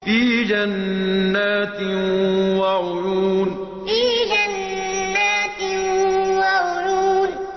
فِي جَنَّاتٍ وَعُيُونٍ فِي جَنَّاتٍ وَعُيُونٍ